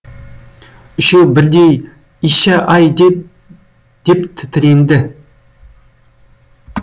үшеуі бірдей ища ай деп деп тітіренді